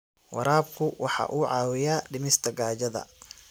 Waraabku waxa uu caawiyaa dhimista gaajada.